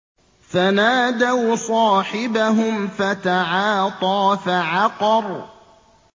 فَنَادَوْا صَاحِبَهُمْ فَتَعَاطَىٰ فَعَقَرَ